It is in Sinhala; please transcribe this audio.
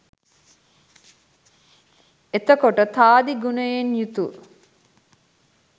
එතකොට තාදී ගුණයෙන් යුතු